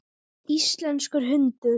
Íslenskur hundur.